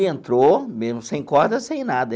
Entrou, mesmo sem corda, sem nada.